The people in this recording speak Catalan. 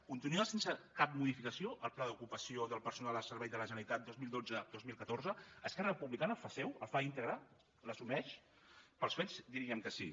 continueu sense cap modificació el pla d’ocupació del personal al servei de la generalitat dos mil dotze dos mil catorze esquerra republicana el fa seu el fa íntegre l’assumeix pels fets diríem que sí